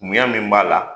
Munya min b'a la